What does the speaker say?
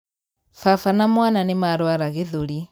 Baba na mwana nīmarwara gīthūri.